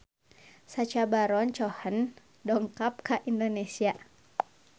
Sacha Baron Cohen dongkap ka Indonesia